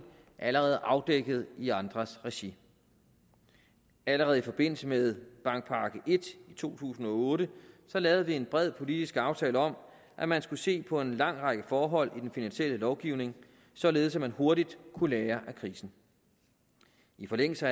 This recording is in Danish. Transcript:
allerede er afdækket i andres regi allerede i forbindelse med bankpakke i i to tusind og otte lavede vi en bred politisk aftale om at man skulle se på en lang række forhold i den finansielle lovgivning således at man hurtigt kunne lære af krisen i forlængelse